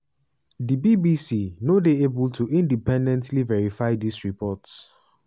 di bbc no dey able to independently verify dis reports.